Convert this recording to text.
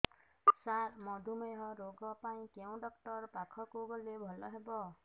ସାର ମଧୁମେହ ରୋଗ ପାଇଁ କେଉଁ ଡକ୍ଟର ପାଖକୁ ଗଲେ ଭଲ ହେବ